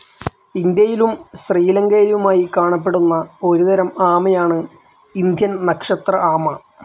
ഇന്ത്യയിലും ശ്രീലങ്കയിലുമായി കാണപ്പെടുന്ന ഒരുതരം ആമയാണ് ഇന്ത്യൻ നക്ഷത്ര ആമ.